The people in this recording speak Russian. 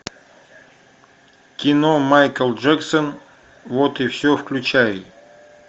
кино майкл джексон вот и все включай